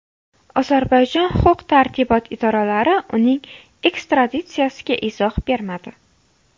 Ozarbayjon huquq-tartibot idoralari uning ekstraditsiyasiga izoh bermadi.